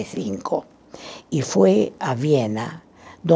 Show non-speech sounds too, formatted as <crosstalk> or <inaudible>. E cinco. E foi à Viena <unintelligible>